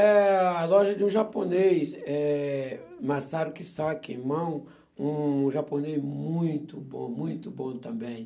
Eh... a loja de um japonês, eh, Masaru Kisaki, irmão, um japonês muito bom, muito bom também.